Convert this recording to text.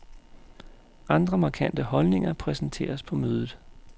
Andre markante holdninger præsenteres på mødet.